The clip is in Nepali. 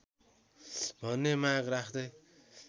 भन्ने माग राख्दै